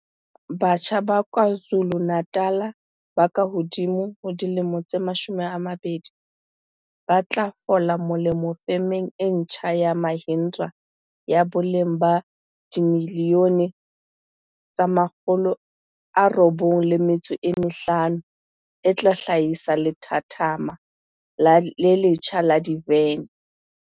Batjha ba KwaZu lu-Natal ba kahodimo ho 20 ba tlo fola molemo femeng e ntjha ya Mahindra ya boleng ba R95 milione e tla hla hisa lethathama le letjha la divene